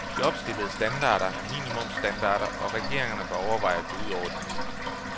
De opstillede standarder er minimumstandarder og regeringerne bør overveje at gå ud over disse.